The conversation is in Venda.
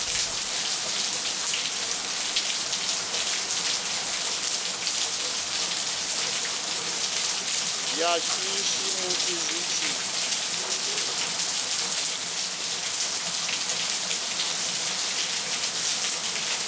ya shishi musi zwi tshi